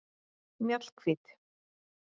Mjallhvít